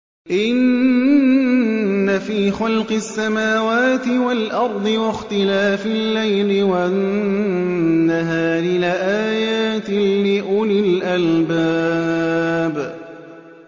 إِنَّ فِي خَلْقِ السَّمَاوَاتِ وَالْأَرْضِ وَاخْتِلَافِ اللَّيْلِ وَالنَّهَارِ لَآيَاتٍ لِّأُولِي الْأَلْبَابِ